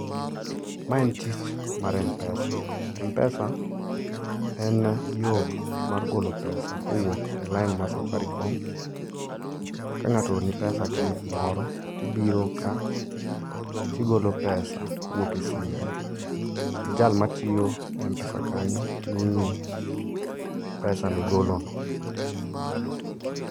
Ma en tich mar mpesa. Mpesa en yo mar golo pesa kowuok e line mar Safaricom. Kangáto ooroni pesa ka en kumoro, tibiro ka, tigolo pesa kowuok e simbi. To jal matiyo e mpesa kanyo miyi pesa migolono.